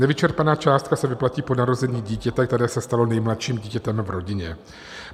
Nevyčerpaná částka se vyplatí po narození dítěte, které se stalo nejmladším dítětem v rodině.